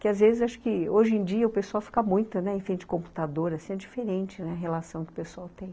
Que às vezes, acho que, hoje em dia o pessoal fica muito, né, em frente ao computador, assim, é diferente a relação que o pessoal tem.